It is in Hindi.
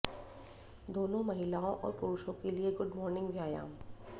दोनों महिलाओं और पुरुषों के लिए गुड मॉर्निंग व्यायाम